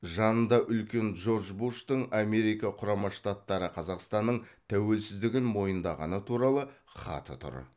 жанында үлкен джордж буштың америка құрама штаттары қазақстанның тәуелсіздігін мойындағаны туралы хаты тұр